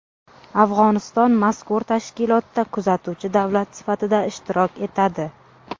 Afg‘oniston mazkur tashkilotda kuzatuvchi davlat sifatida ishtirok etadi.